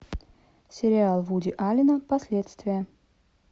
сериал вуди аллена последствия